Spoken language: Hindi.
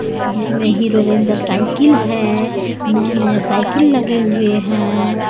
जिसमें हीरो रेंजर साइकिल है नया-नया साइकिल लगे हुए हैं.